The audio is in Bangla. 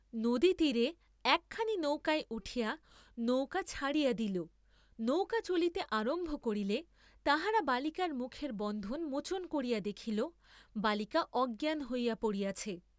নদীতীরে একখানি নৌকায় উঠিয়া নৌকা ছাড়িয়া দিল; নৌকা চলিতে আরম্ভ করিলে তাহারা বালিকার মুখের বন্ধন মোচন করিয়া দেখিল, বালিকা অজ্ঞান হইয়া পড়িয়াছে।